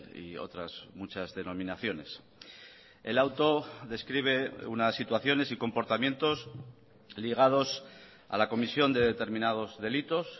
y otras muchas denominaciones el auto describe unas situaciones y comportamientos ligados a la comisión de determinados delitos